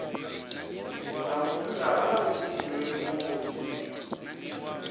sa munna vha na vhuḓifhinduleli vhunzhi